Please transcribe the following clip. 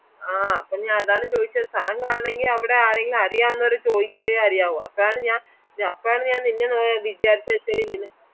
വേണെങ്കിൽ ഇപ്പൊ ഞാൻ വര